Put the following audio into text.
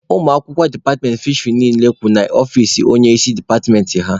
Ụmụ akwụkwọ departmentị fisheri niile kwụ n'ihu ọfici onye isi departmentị ha.